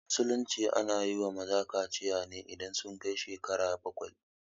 A musulunci ana yiwa maza kaciya ne idan sun kai shekaru bakwai